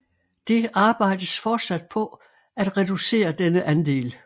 Det arbejdes fortsat på at reducere denne andel